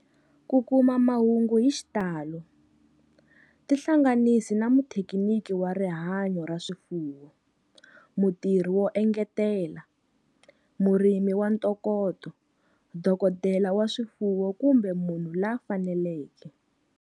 Ku kuma mahungu hi xitalo, tihlanganisi na muthekiniki wa rihanyo ra swifuwo, mutirhi wo engetela, murimi wa ntokoto, dokodela wa swifuwo kumbe munhu la fanelekeke.